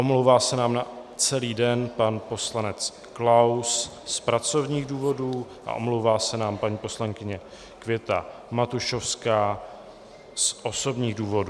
Omlouvá se nám na celý den pan poslanec Klaus z pracovních důvodů a omlouvá se nám paní poslankyně Květa Matušovská z osobních důvodů.